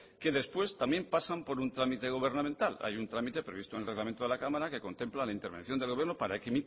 que después también pasan por un trámite gubernamental hay un trámite previsto en el reglamento de la cámara que contempla la intervención del gobierno para que